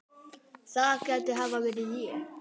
það gæti hafa verið ég